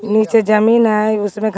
नीचे जमीन है उसमे घास --